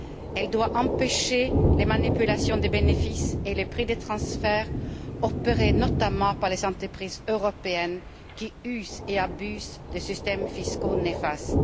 Elle doit empêcher les manipulations des bénéfices et les prix des transferts opérés notamment par les entreprises européennes qui usent et abusent de systèmes fiscaux néfastes.